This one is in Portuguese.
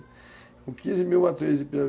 Com quinze mil matrizes de pirarucu.